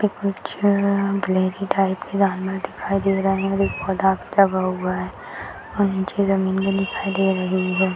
कुछ black type का जानवर दिखाई दे रहा है और एक पौधा दिखाई दे रही है।